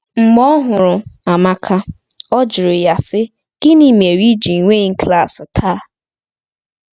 Mgbe ọ hụrụ Amaka, ọ jụrụ ya sị: “Gịnị mere i ji enweghị klas taa?”